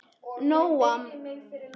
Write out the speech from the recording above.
Nóam, hækkaðu í hátalaranum.